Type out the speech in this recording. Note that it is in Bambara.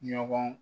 Ɲɔgɔn